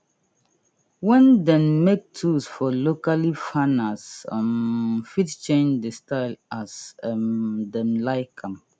wen dem make tools for locally farners um fit change dey style as um dem like am